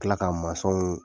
K'a tila ka masɔnw